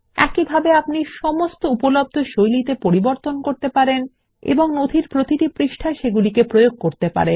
একইভাবে আপনি সমস্ত উপলব্ধ শৈলীতে পরিবর্তন করতে পারেন এবং নথির প্রতিটি পৃষ্ঠায় সেগুলি প্রয়োগ করতে পারেন